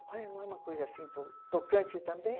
Ai, não é uma coisa assim to tocante também?